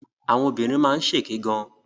Àwọn obìnrin máa ń ṣèké gan.